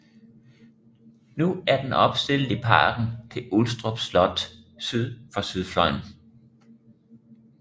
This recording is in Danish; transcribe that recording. Nu er den opstillet i parken til Ulstrup Slot syd for sydfløjen